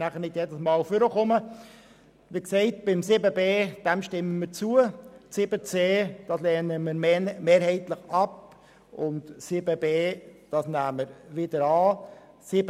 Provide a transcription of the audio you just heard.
Dem Abänderungsantrag zu 7.b stimmen wir zu, 7.c lehnen wir mehrheitlich ab, und 7.d nehmen wir wiederum an.